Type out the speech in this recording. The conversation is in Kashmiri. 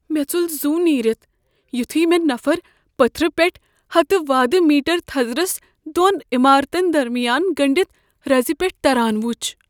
مے٘ ژوٚل زُو نیرِتھ یُتھُے مےٚ نفر پتھرِ پیٹھٕ ہتہٕ وادٕ میٹر تھزرس دون عمارتن درمِیان گنڈِتھ رز پٮ۪ٹھ تران وچھ۔